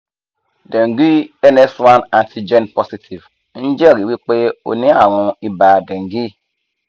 dengue ns1 antigen positive n jeri wipe o ni arun iba dengue